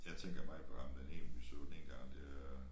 Jeg tænker meget på ham den ene vi så den ene gang dér